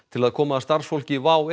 til að koma starfsfólki WOW